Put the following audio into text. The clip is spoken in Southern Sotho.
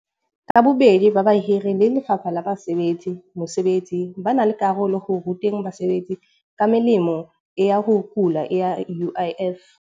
Ka bobedi ba bahiri le Lefapha la Basebetsi, mosebetsi ba na le karolo ho ruta basebetsi ka melemo ya ho kula ya U_I_F.